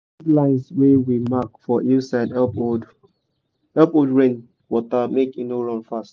those lines wey we mark for hill side help hold help hold rain water make e no run fast.